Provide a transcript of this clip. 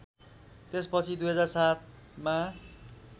त्यसपछि २००७ मा